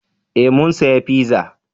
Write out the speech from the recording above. Eh mun saya fiza